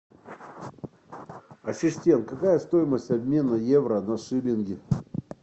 ассистент какая стоимость обмена евро на шиллинги